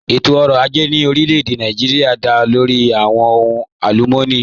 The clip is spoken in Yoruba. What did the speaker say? Ẹ̀tọ̀-ọ̀rọ̀ àjẹ̀ ní orílẹ̀-èdè Nàìjíríà dá lórí awọn ọ̀hùn alùmọ́nì